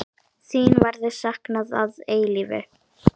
Þín verður saknað að eilífu.